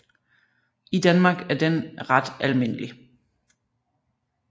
I Danmark er den ret almindelig